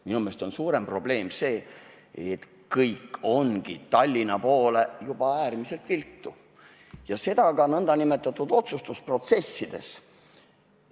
Minu meelest on suurem probleem see, et kõik ongi juba Tallinna poole äärmiselt viltu ja seda ka otsustusprotsessides.